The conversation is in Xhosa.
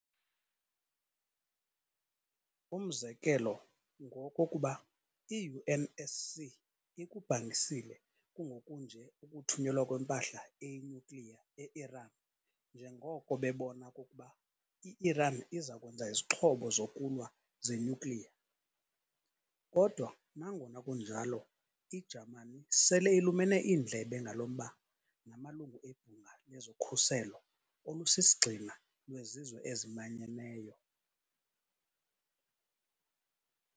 Umzekelo ngowokokuba i-UNSC ikubhangisile kungoku nje ukuthunyelwa kwempahla eyinuclear e-Iran njengoko bebona okokuba i-Iran izakwenza izixhobo zokulwa ze-nuclear. Kodwa nangona kunjalo, i-Jamani sele ilumene iindlebe ngalo mba namalungu ebhunga lezokhuseko olusisigxina lwezizwe ezimanyeneyo.